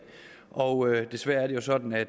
og desværre er det jo sådan at